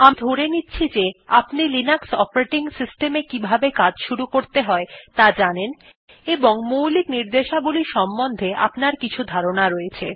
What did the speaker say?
আমি ধরে নিচ্ছি যে আপনি লিনাক্স অপারেটিং সিস্টেম এ কিভাবে কাজ শুরু করতে হয় ত়া জানেন এবং মৌলিক র্নিদেশাবলী সম্বন্ধে আপনার কিছু ধারনার রয়েছে